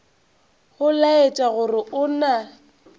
go laetša gore go na